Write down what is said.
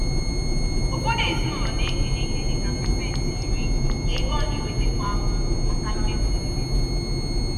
ụfọdụ ezinaụlọ na-ekenye ihe dịka pasentị iri (10%) nke ego ọ na-enweta kwa afọ maka mmefu nri.